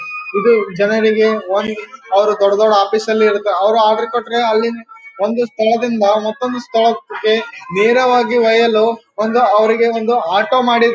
ಇದು ಜನರಿಗೆ ವಾಹಿನಿ ಅವರು ದೊಡ್ಡ್ ದೊಡ್ಡ್ ಆಫೀಸ್ ಅಲ್ಲಿ ಇರ್ತಾರೆ ಅವ್ರು ಆರ್ಡರ್ ಕೊಟ್ರೆ ಒಂದು ಸ್ಥಳದಿಂದ ಮತ್ತೊಂದು ಸ್ಥಳಕ್ಕೆ ನೇರವಾಗಿ ಒಯ್ಯಲು ಅವರಿಗೆ ಒಂದು ಆಟೋ ಮಾಡಿ --